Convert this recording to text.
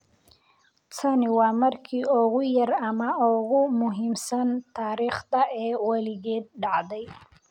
Tani waa markii ugu yar ama ugu muhiimsan taariikhda ee weligeed dhacday